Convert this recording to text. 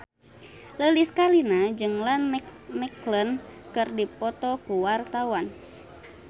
Lilis Karlina jeung Ian McKellen keur dipoto ku wartawan